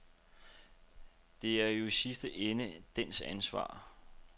Det er jo i den sidste ende dens ansvar.